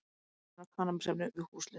Amfetamín og kannabisefni við húsleit